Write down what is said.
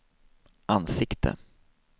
ansikte